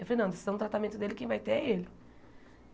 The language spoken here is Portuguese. Eu falei, não, a decisão do tratamento dele, quem vai ter é ele.